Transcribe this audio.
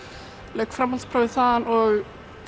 lauk framhaldsprófi þar og